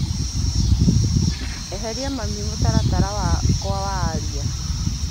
Eheria mami mũtaratara-inĩ wakwa wa aria.